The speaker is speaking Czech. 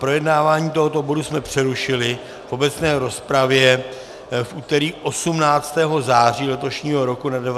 Projednávání tohoto bodu jsme přerušili v obecné rozpravě v úterý 18. září letošního roku na 19. schůzi.